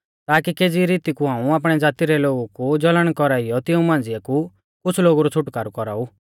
ताकि केज़ी रीती कु हाऊं आपणै ज़ाती रै लोगु कु जलन कौराइयौ तिऊं मांझ़िऐ कु कुछ़ लोगु रौ छ़ुटकारौ कौराऊ